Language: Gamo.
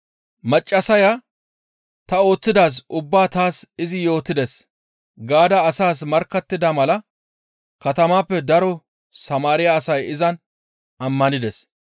Maccassaya, «Ta ooththidaaz ubbaa taas izi yootides» gaada asaas markkattida mala katamaappe daro Samaariya asay izan ammanides.